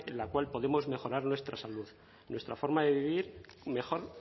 la cual podemos mejorar nuestra salud nuestra forma de vivir mejor